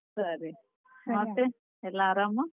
ಸರಿ, ಮತ್ತೆ ಎಲ್ಲಾ ಆರಾಮ?